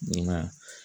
Na